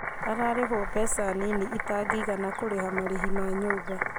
Ararĩhũo mbeca nini ĩtangĩigana kũrĩha marĩhi ma nyũmba